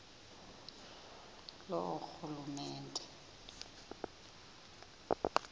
loorhulumente